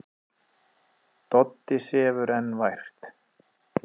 Doddi sefur enn vært.